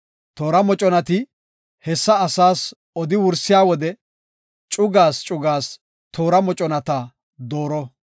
Olaa kaalethaysati hessa asaas odi wursiya wode cugaas cugaas toora moconata dooro.